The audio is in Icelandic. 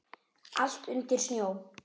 Allt undir snjó.